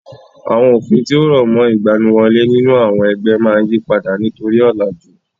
Àwọn òfin tí ó rọ̀mọ́ ìgbaniwọlé nínú àwọn ẹgbẹ́ máa yípadà nítorí ọ̀làjú.